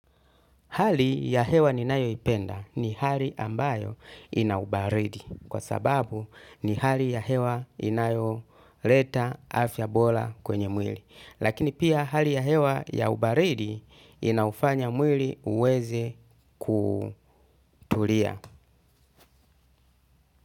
Hali ya hewa ninayo ipenda ni hali ambayo ina ubaridi kwa sababu ni hali ya hewa inayo leta afya bola kwenye mwili. Lakini pia hali ya hewa ya ubaridi inaufanya mwili uweze kutulia.